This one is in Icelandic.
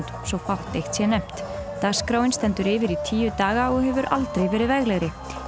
svo fátt eitt sé nefnt dagskráin stendur yfir í tíu daga og hefur aldrei verið veglegri